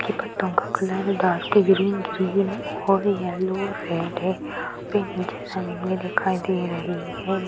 Colour है green green और yellow red है पे नीचे जमीन भी दिखाई दे रही है ।